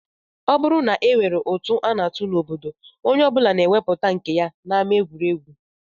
Ọ bụrụ na e nwere ụtụ a na-atụ n'obodo, onye ọ bụla na-ewepụta nke ya n'ama egwuregwu